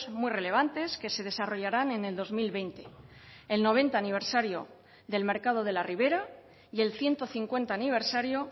muy relevantes que se desarrollaran en el dos mil veinte el noventa aniversario del mercado de la ribera y el ciento cincuenta aniversario